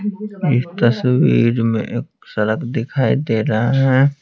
इस तस्वीर में एक सड़क दिखाई दे रहा है।